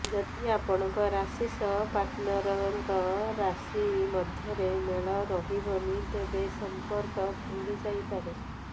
ଯଦି ଆପଣଙ୍କ ରାଶି ସହ ପାର୍ଟନରଙ୍କ ରାଶି ମଧ୍ୟରେ ମେଳ ରହିବନି ତେବେ ସମ୍ପର୍କ ଭାଙ୍ଗିଯାଇପାରେ